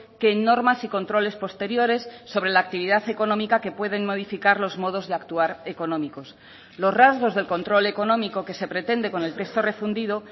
que en normas y controles posteriores sobre la actividad económica que pueden modificar los modos de actuar económicos los rasgos del control económico que se pretende con el texto refundido